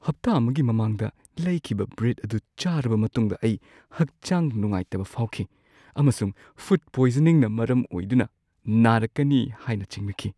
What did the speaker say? ꯍꯞꯇꯥ ꯑꯃꯒꯤ ꯃꯃꯥꯡꯗ ꯂꯩꯈꯤꯕ ꯕ꯭ꯔꯦꯗ ꯑꯗꯨ ꯆꯥꯔꯕ ꯃꯇꯨꯡꯗ ꯑꯩ ꯍꯛꯆꯥꯡ ꯅꯨꯡꯉꯥꯏꯇꯕ ꯐꯥꯎꯈꯤ ꯑꯃꯁꯨꯡ ꯐꯨꯗ ꯄꯣꯏꯖꯅꯤꯡꯅ ꯃꯔꯝ ꯑꯣꯏꯗꯨꯅ ꯅꯥꯔꯛꯀꯅꯤ ꯍꯥꯏꯅ ꯆꯤꯡꯅꯈꯤ꯫